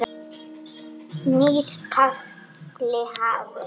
Nýr kafli hafinn.